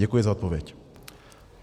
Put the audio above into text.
Děkuji za odpověď.